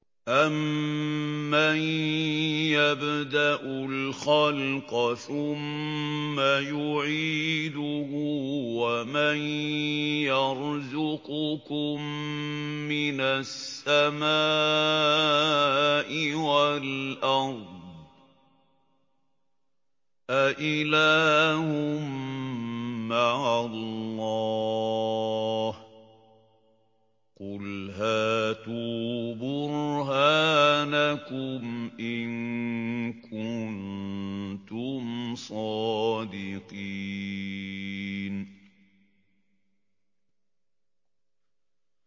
أَمَّن يَبْدَأُ الْخَلْقَ ثُمَّ يُعِيدُهُ وَمَن يَرْزُقُكُم مِّنَ السَّمَاءِ وَالْأَرْضِ ۗ أَإِلَٰهٌ مَّعَ اللَّهِ ۚ قُلْ هَاتُوا بُرْهَانَكُمْ إِن كُنتُمْ صَادِقِينَ